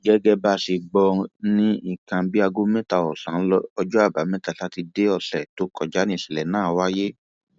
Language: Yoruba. gẹgẹ bá a ṣe gbọ ní nǹkan bíi aago mẹta ọsán ọjọ àbámẹta sátidé ọsẹ tó kọjá níṣẹlẹ náà wáyé